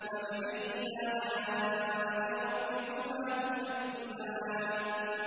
فَبِأَيِّ آلَاءِ رَبِّكُمَا تُكَذِّبَانِ